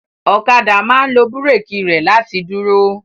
Ọ̀kadà máa ń lo búrékì rẹ̀ láti dúró.